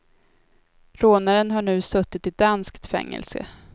Rånaren har nu suttit i danskt fängelse.